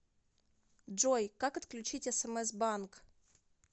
джой как отключить смс банк